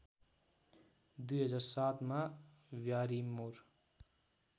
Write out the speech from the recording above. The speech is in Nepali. २००७ मा ब्यारिमोर